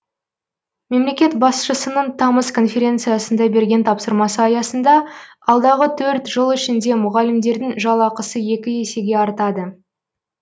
мемлекет басшысының тамыз конференциясында берген тапсырмасы аясында алдағы төрт жыл ішінде мұғалімдердің жалақысы екі есеге артады